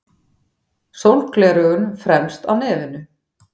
Sólgleraugun fremst á nefinu.